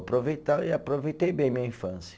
Aproveita, aproveitei bem minha infância.